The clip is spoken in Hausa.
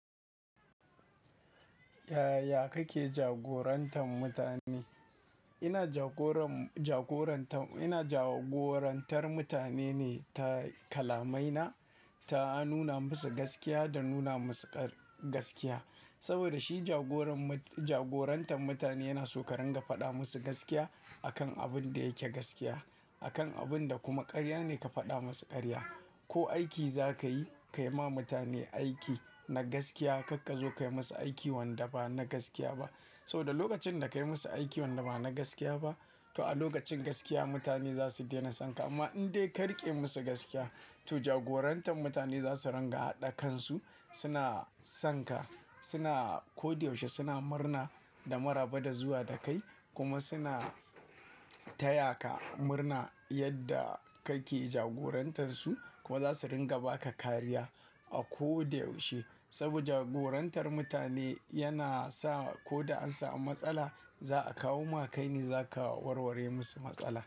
Yaya kake jagorantar mutane? Ina jagoran, jagorantar, ina jagorantar mutane ne ta kalamai na, ta nuna musu gaskiya da nuna musu ƙa-gaskiya. Saboda shi jagoran mut-- jagorantar mutane yana so ka ringa faɗa musu gaskiya a kan abin da yake gaskiya, a kan abin da kuma ƙarya ne ka faɗa musu ƙarya. Ko aiki za ka yi, ka yi ma mutane aiki na gaskiya. Karka zo ka yi masa aiki wanda ba na gaskiya ba. Saboda lokacin da ka yi masa aiki wanda ba na gaskiya ba, to a lokacin gaskiya mutane za su dena son ka. Amma in dai ka riƙe musu gaskiya, to jagorantar mutane za su ringa haɗa kansu, suna son ka, suna ko da yaushe suna murna da maraba da zuwa da kai kuma suna taya ka murna yadda kake jagorantar su. Kuma za su ringa ba ka kariya a ko da yaushe. Saboda jagorantar mutane yana sa ko da an samu matsala, za a kawo maka ne za ka warware musu matsala.